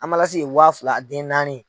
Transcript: ye wa fila a den naani.